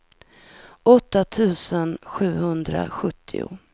åtta tusen sjuhundrasjuttio